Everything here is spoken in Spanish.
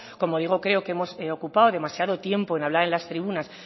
como digo creo que hemos ocupado demasiado tiempo en hablar en las tribunas